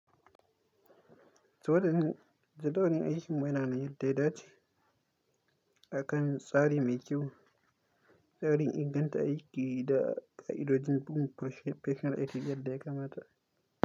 Jadawalin aikin mu yana na yin daidai ce akan tsari mai kyau, tsarin inganta aiki da ka’idojin Professional Ethics yadda ya kamata.